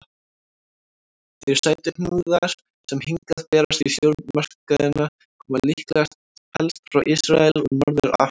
Þeir sætuhnúðar sem hingað berast í stórmarkaðina koma líklega helst frá Ísrael og Norður-Afríku.